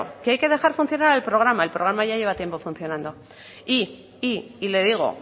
que hay que dejar funcionar al programa el programa ya lleva tiempo funcionando y le digo